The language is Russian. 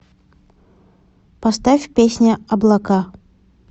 поставь песня облака